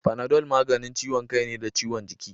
Panadol maganin ciwon kai ne da ciwon jiki